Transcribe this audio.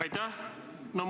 Aitäh!